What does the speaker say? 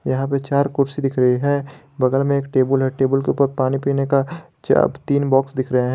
यहां पे चार कुर्सी दिख रही है बगल में एक टेबुल है टेबुल के ऊपर पानी पीने का चा तीन बॉक्स दिख रहे हैं।